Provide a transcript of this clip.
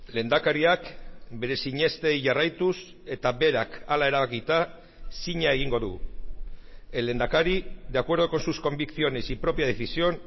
lehendakariak bere sinestei jarraituz eta berak hala erabakita zina egingo du el lehendakari de acuerdo con sus convicciones y propia decisión